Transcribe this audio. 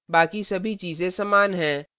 बाकी सभी चीजें समान हैं